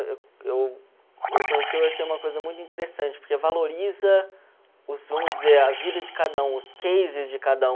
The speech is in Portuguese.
Eu eu eu conheci eu achei uma coisa muito interessante, porque valoriza, os vamos dizer, a vida de cada um, os cases de cada um.